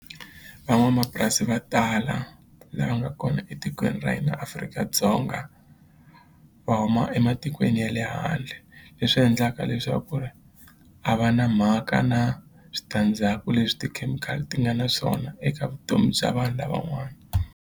Van'wamapurasi va tala lava nga kona etikweni ra hina Afrika-Dzonga va huma ematikweni ya le handle leswi endlaka leswaku ri a va na mhaka na switandzhaku leswi tikhemikhali ti nga na swona eka vutomi bya vanhu lavan'wana.